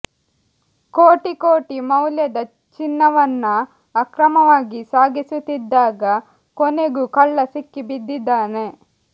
ಕೋಟಿ ಕೋಟಿ ಮೌಲ್ಯದ ಚಿನ್ನವನ್ನ ಅಕ್ರಮವಾಗಿ ಸಾಗಿಸುತ್ತಿದ್ದಾಗ ಕೊನೆಗೂ ಕಳ್ಳ ಸಿಕ್ಕಿ ಬಿದ್ದಿದ್ದಾನೆ